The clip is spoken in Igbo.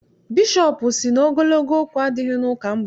Bishọp sị na ogologo okwu adịghị n'ụka mgbede.